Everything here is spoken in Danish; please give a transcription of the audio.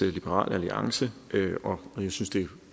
liberal alliance jeg synes det er